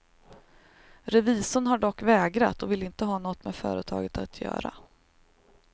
Revisorn har dock vägrat och vill inte ha något med företaget att göra.